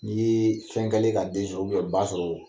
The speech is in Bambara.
Ni ye fɛn kɛlen ka den sɔrɔ ba sɔrɔ